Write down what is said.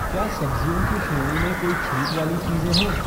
क्या सब्ज़ियों की श्रेणी में कोई छूट वाली चीज़े हैं?